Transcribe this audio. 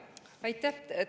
Aitäh!